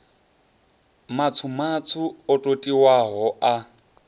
matswu matswu o totiwaho a